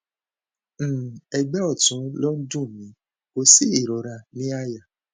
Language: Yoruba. um ẹgbẹ ọtún ló ń dùn mí kò sí ìrora ní àyà